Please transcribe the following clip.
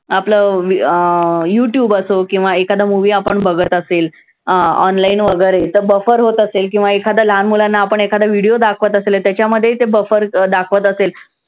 आपलं अं youtube असो किंवा एखादा movie आपण बघत असेल अं online वैगरे तर buffer होत असेल किंवा एखादा लहान मुलांना आपण एखादा video दाखवत असले त्याच्यामध्ये ते buffer अं दाखवत असेल